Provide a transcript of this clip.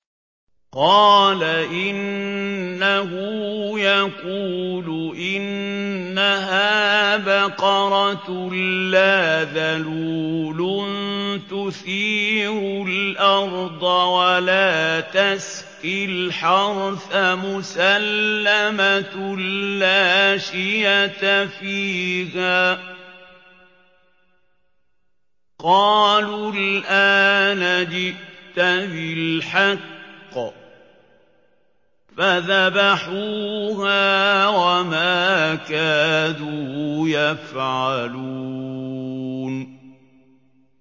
قَالَ إِنَّهُ يَقُولُ إِنَّهَا بَقَرَةٌ لَّا ذَلُولٌ تُثِيرُ الْأَرْضَ وَلَا تَسْقِي الْحَرْثَ مُسَلَّمَةٌ لَّا شِيَةَ فِيهَا ۚ قَالُوا الْآنَ جِئْتَ بِالْحَقِّ ۚ فَذَبَحُوهَا وَمَا كَادُوا يَفْعَلُونَ